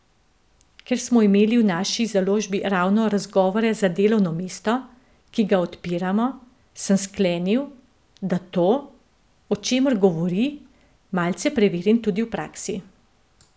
Ker smo imeli v naši založbi ravno razgovore za delovno mesto, ki ga odpiramo, sem sklenil, da to, o čemer govori, malce preverim tudi v praksi.